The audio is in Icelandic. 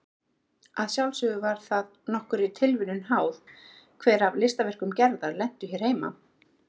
Að sjálfsögðu var það nokkurri tilviljun háð hver af listaverkum Gerðar lentu hér heima.